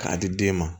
K'a di den ma